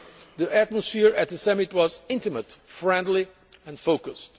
The atmosphere at the summit was intimate, friendly, and focused.